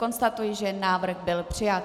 Konstatuji, že návrh byl přijat.